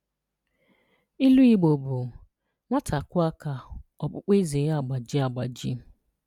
Ilu Igbo bụ “Nwata kụọ aka, ọkpụkpụ eze ya agbajie agbaji.”